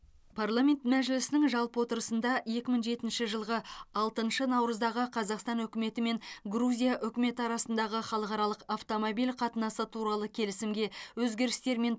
парламент мәжілісінің жалпы отырысында екі мың жетінші жылғы алтыншы наурыздағы қазақстан үкіметі мен грузия үкіметі арасындағы халықаралық автомобиль қатынасы туралы келісімге өзгерістер мен